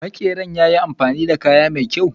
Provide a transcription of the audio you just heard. Makeran yayi amfani da kaya mai kyaw.